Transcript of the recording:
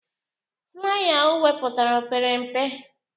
Flaya o wepụtara opere mpe?